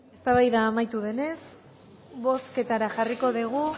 eztabaida amaitu denez bozketara jarriko dugu